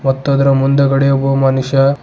ಮತ್ತು ಅದರ ಮುಂದುಗಡೆ ಒಬ್ಬ ಮನುಷ್ಯ--